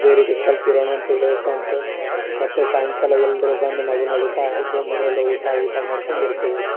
ಇದೆ ರೀತಿ ಇರೋಣ. ಮತ್ತೆ ಸಾಯಂಕಾಲ ಎಲ್ರು ಬಂದ್ ನಗುನಗುತಾ ಊಟಾ ಗಿಟಾ ಮಾಡ್ಕೊಂಡ್ ಇರ್ತೇವಿ.